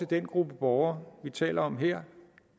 den gruppe borgere vi taler om her